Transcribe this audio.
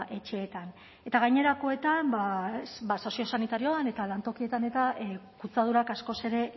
etxeetan eta gainerakoetan soziosanitarioan eta lantokietan eta kutsadurak askoz ere